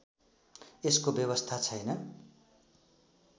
यसको व्यवस्था छैन